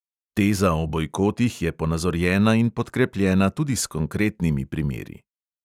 Teza o bojkotih je ponazorjena in podkrepljena tudi s konkretnimi primeri.